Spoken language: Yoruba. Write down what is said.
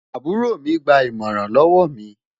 àbúrò mi gbà imọran lówó mí